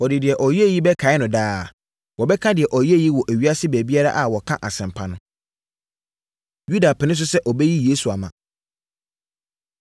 Wɔde deɛ ɔyɛeɛ yi bɛkae no daa. Wɔbɛka deɛ ɔyɛeɛ yi wɔ ewiase baabiara a wɔka asɛmpa no.” Yuda Pene So Sɛ Ɔbɛyi Yesu Ama